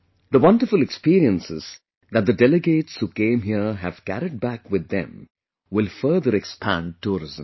The wonderful experiences that the delegates who came here have carried back with them will further expand tourism